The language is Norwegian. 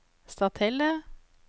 Stathelle